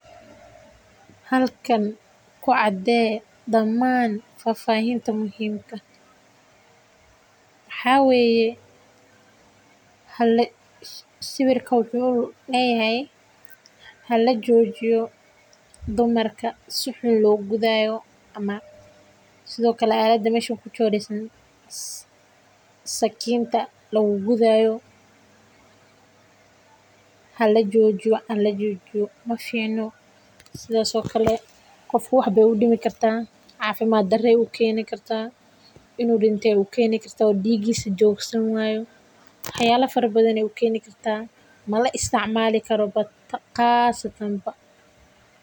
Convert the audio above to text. Halkan ku cadee damaan faahfaahinta muhiimka ah waxaa waye sawirka wuxuu leyahay hala joojiyo dumarka si xun loo gudaayo waxaa ku sawiran sakinta hala joojiyo maficno qofka waxeey u keeni kartaa xanuun.